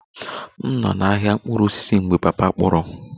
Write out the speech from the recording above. M nọ n'ahịa mkpụrụ osisi mgbe papa m kpọrọ